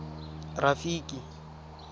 rafiki